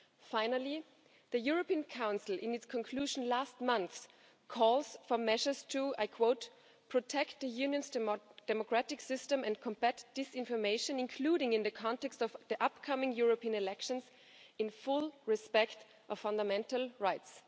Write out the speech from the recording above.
Finally, the European Council, in its conclusion last month, calls for measures to protect the Union's democratic system and combat disinformation, including in the context of the upcoming European elections in full respect of fundamental rights'.